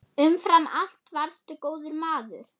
Umfram allt varstu góður maður.